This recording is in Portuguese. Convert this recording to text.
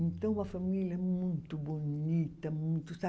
Então, uma família muito bonita, muito